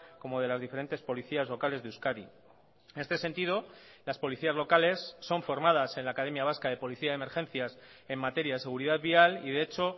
como de las diferentes policías locales de euskadi en este sentido las policías locales son formadas en la academia vasca de policía y emergencias en materia de seguridad vial y de hecho